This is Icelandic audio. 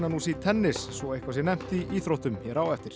í tennis svo eitthvað sé nefnt í íþróttum hér á eftir